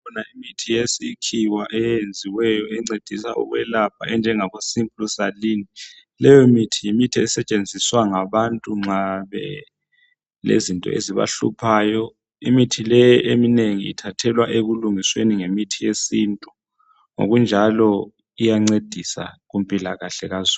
Ikhona imithi yesikhiwa eyenziweyo encedisayo ukwelapha enjengabo simply saline, leyo mithi yimithi esetshenziswa ngabantu nxa belezinto ezibahluphayo, imithi leyi eminengi ithathelwa ekulungisweni ngemithi yesintu, ngokunjalo iyancedisa kumpilakahle kazulu.